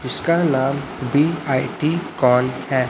इसका नाम बी_आई_टी कौन है।